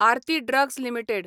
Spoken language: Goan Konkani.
Aarti drugs limited